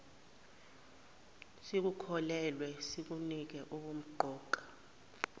sikukholelwe sikunike ubumqoka